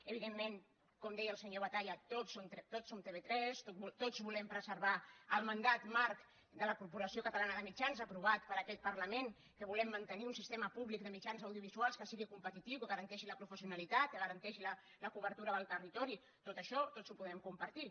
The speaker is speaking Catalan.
evidentment com deia el senyor batalla tots som tv3 tots volem preservar el mandat marc de la corporació catalana de mitjans aprovat per aquest parlament volem mantenir un sistema públic de mitjans audiovisuals que sigui competitiu que garanteixi la professionalitat que garanteixi la cobertura del territori tot això tots ho podem compartir